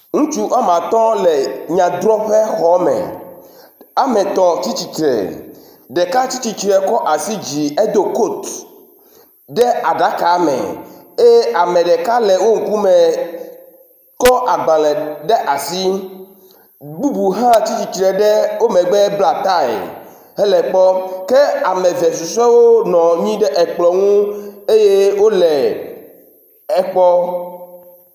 Ŋutsu woame atɔ̃ le nyadrɔƒe xɔme, ametɔ̃ tsi tsitre, ɖeka tsi tsitre kɔ asi ɖe dzi edo coat ɖe aɖaka me eye ame ɖeka le wo ŋkume kɔ agbalẽ ɖe asi, bubu hã tsi tsitre ɖe o megbe bla tie hele kpɔɔ. Ke ame eve susuɛwo nɔ anyi ɖe ekplɔ ŋu eye wole ekpɔ.